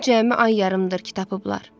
Onu cəmi ay yarımdır ki tapıblar.